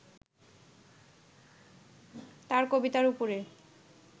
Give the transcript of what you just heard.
তাঁর কবিতার ওপরে